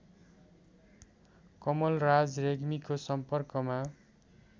कमलराज रेग्मीको सम्पर्कमा